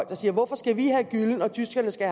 der siger hvorfor skal vi have gyllen og tyskerne skal